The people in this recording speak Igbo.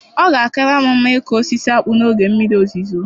Ọ ga-akara m mma ịkụ osisi akpu n'oge mmiri ozuzo.